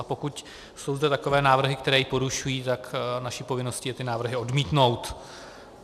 A pokud jsou zde takové návrhy, které ji porušují, tak naší povinností je ty návrhy odmítnout.